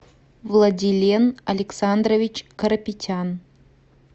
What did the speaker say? владилен александрович карапетян